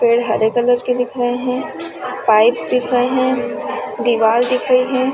पेड़ हरे कलर के दिख रहे है पाइप दिख रहे है दिवाल दिख रहे हैं ।।